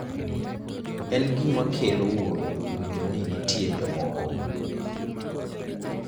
en gima kelo wuoro winjo ni nitie jomoko